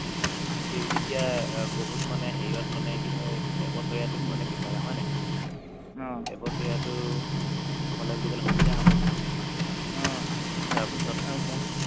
এতিয়া বহুত মানে হেৰিত মানে কি হয় এবছৰীয়াটো মানে বিচাৰে হয় নাই এবছৰীয়াটো হ'লে বুলি ক'লে সুবিধা হ'ব